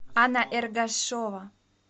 анна эргашова